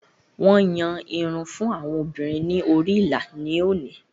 Wọn yàn irun fún àwọn obìnrin ni orí ìlà ni oni